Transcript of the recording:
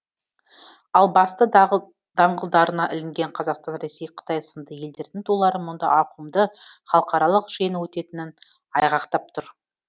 ал басты даңғылдарына ілінген қазақстан ресей қытай сынды елдердің тулары мұнда ауқымды халықаралық жиын өтетінін айғақтап тұр